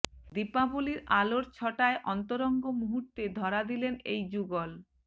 দীপাবলির আলোর ছটায় অন্তরঙ্গ মুহূর্তে ধরা দিলেন এই যুগল